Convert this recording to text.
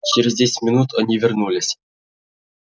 через десять минут они вернулись